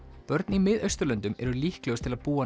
börn í Mið Austurlöndum eru líklegust til að búa